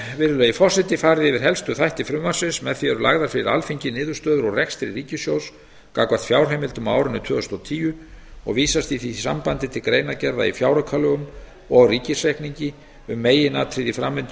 virðulegi forseti farið yfir helstu þætti frumvarpsins með því eru lagðar fyrir alþingi niðurstöður úr rekstri ríkissjóðs gagnvart fjárheimildum á árinu tvö þúsund og tíu og vísast í því sambandi til greinargerða í fjáraukalögum og ríkisreikningi um meginatriði í framvindu